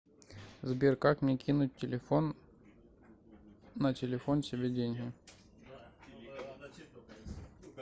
сбер как мне кинуть телефон на телефон себе деньги